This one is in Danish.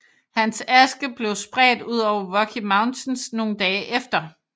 Hans aske blev spredt ud over Rocky Mountains nogle dage efter